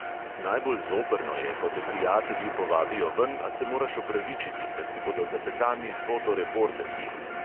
Najbolj zoprno je, ko te prijatelji povabijo ven, a se moraš opravičiti, ker ti bodo za petami fotoreporterji.